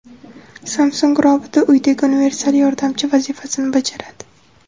Samsung roboti uydagi universal yordamchi vazifasini bajaradi.